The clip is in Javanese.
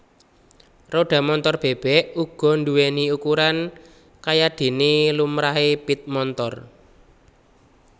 Rodha Montor bèbèk uga nduwèni ukuran kayadéné lumrahé pit montor